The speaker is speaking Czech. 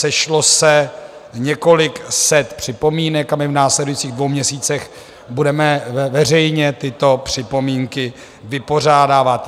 Sešlo se několik set připomínek a my v následujících dvou měsících budeme veřejně tyto připomínky vypořádávat.